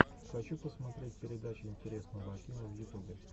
хочу посмотреть передача интересного акима в ютубе